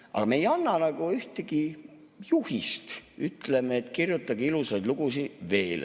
Aga me ei anna ühtegi juhist, ütleme, et kirjutage ilusaid lugusid veel.